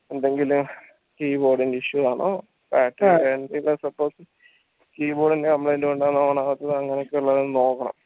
എന്തെങ്കിലും keyboard ൻറെ issue ആണോ suppose keyboard ൻറെ complaint കൊണ്ടാണോ on ആവാത്തത് അങ്ങനെയൊക്കെയുള്ളത് നോക്കണം